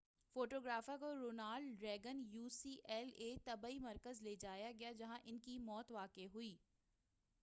photographer کو Ronald Reagan U C L A طبی مرکز لے جایا گیا جہاں ان کی موت واقع ہو گئی